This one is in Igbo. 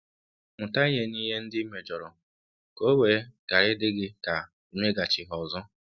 Mụta ihe n'ihe ndị i mejọrọ ka o wee ghara ịdị gị ka imeghachi ha ọzọ.